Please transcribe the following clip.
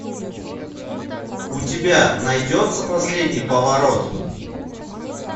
у тебя найдется последний поворот